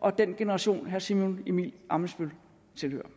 og den generation herre simon emil ammitzbøll tilhører